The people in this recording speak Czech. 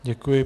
Děkuji.